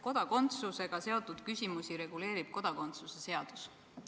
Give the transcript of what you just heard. Kodakondsusega seotud küsimusi reguleerib kodakondsuse seadus.